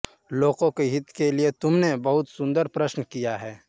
लोकों के हित के लिए तुमने बहुत सुंदर प्रश्न किया है